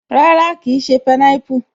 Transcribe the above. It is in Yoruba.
Rárá, kìí ṣé pineapple